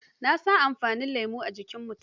Na san amfanin lemo a jikin mutum.